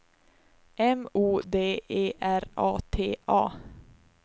M O D E R A T A